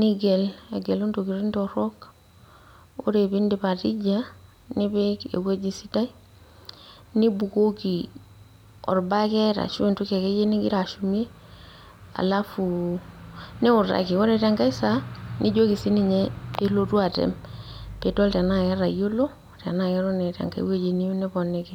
nigel, agelu intokiting torrok, ore pidip atija, nipik ewueji sidai, nibukoki orbaket ashu entoki akeyie nigira ashumie, alafu niutaki. Ore tenkae saa, nijoki sininye pelotu atem, pidol tenaa ketayiolo, tenaa keton eeta enkae woji niyieu niponiki.